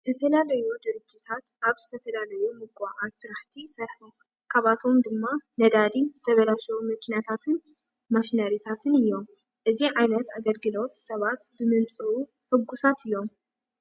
ዝተፈላለዩ ድርጅታት ኣብ ዝተፈላለዩ ምጉዕዓዝ ስራሕቲ ይሰርሑ። ካብኣቶም ድማ ነዳዲ፣ ዝተበላሸዉ መኪናታትን ማሽነሪታትን እዮም። እዚ ዓይነት ኣገልግሎት ሰባት ብምምፅኡ ሕጉሳት እዮም።